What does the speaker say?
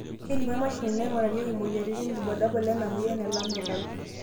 kelimu emashini naingurarieki imoyiaritin irbulabol lena moyian e Lamellar